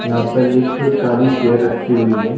यहाँ पर एक काली चेयर रखी हुई है।